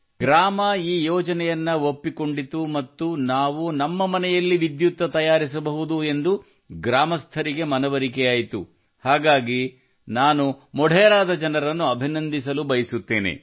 ಗ್ರಾಮವು ಈ ಯೋಜನೆಯನ್ನು ಒಪ್ಪಿಕೊಂಡಿತು ಮತ್ತು ನಾವು ನಮ್ಮ ಮನೆಯಲ್ಲಿ ವಿದ್ಯುತ್ ತಯಾರಿಸಬಹುದು ಎಂದು ಗ್ರಾಮಸ್ಥರಿಗೆ ಮನವರಿಕೆಯಾಯಿತು ಹಾಗಾಗಿ ನಾನು ಮೊಢೆರಾದ ಜನರನ್ನು ಅಭಿನಂದಿಸಲು ಬಯಸುತ್ತೇನೆ